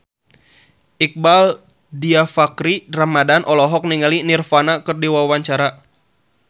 Iqbaal Dhiafakhri Ramadhan olohok ningali Nirvana keur diwawancara